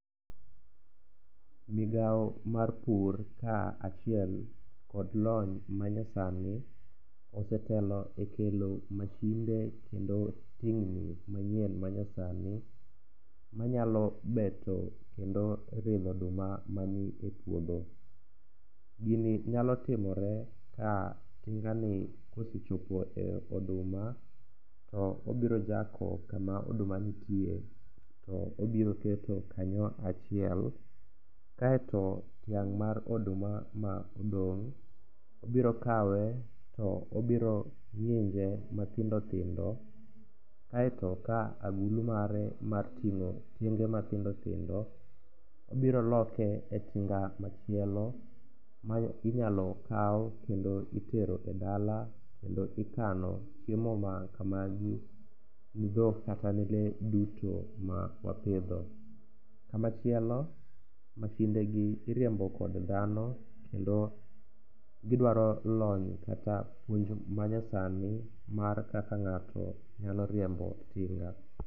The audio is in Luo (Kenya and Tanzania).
Migao mar pur kaachiel kod lony manyasani osetelo e kelo mashinde kendo tingni manyien manyasani manyalo beto kendo ridho oduma mani e puodho. Gini nyalo timore ka tingani kosechopo e oduma to obirojako kama oduma nitie to obiroketo kanyo achiel kaeto tiang' mar oduma ma odong' obirokawe to obirong'inje mathindothindo kaeto ka agulu mare mar ting'o tienge mathindothindo obiro loke e tinga machielo ma inyalo kaw kendo itero e dala kendo ikano chiemo makamagi ni dhok kata lee duto mawapidho. Kamachielo mashindegi iriembo kod dhano kendo gidwaro lony kata puonj manyasani mar kaka ng'ato nyalo riembo tinga.